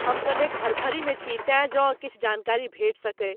हम कनेक धरफड़ीमे छी तैं जौं किछु जानकारी भेट सकै।